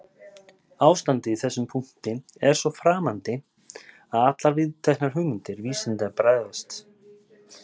Ástandið í þessum punkti er svo framandi að allar viðteknar hugmyndir vísindanna bregðast.